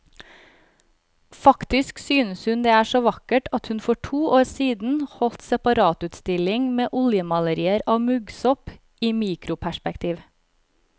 Faktisk synes hun det er så vakkert at hun for to år siden holdt separatutstilling med oljemalerier av muggsopp i mikroperspektiv.